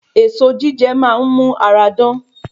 Èso jíjẹ máa n mu ara dán